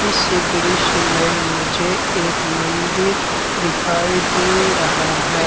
इस दृश्य में मुझे एक मंदिर दिखाई दे रहा है।